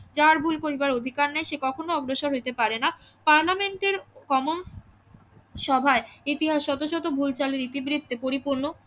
যাহার ভুল করিবার অধিকার নাই সে কখনো অগ্রসর হইতে পারেনা পার্লামেন্টের কমনসভায় ইতিহাস শত শত ভুল চালু ইতিবৃত্তে পরিপূর্ণ